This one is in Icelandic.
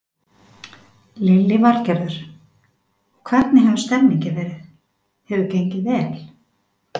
Lillý Valgerður: Og hvernig hefur stemningin verið, hefur gengið vel?